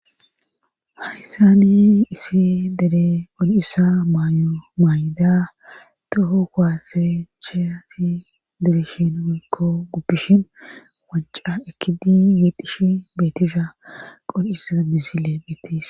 Hayssani isi dere ol'issa mymaay'ida toho kwaase cheati debishin wikko guppishin wanca ekidi yeedishi beetisa qolisaa bisile beettes.